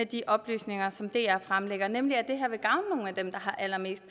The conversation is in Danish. de oplysninger som dr fremlægger rigtige nemlig at det her vil gavne nogle af dem der har allermest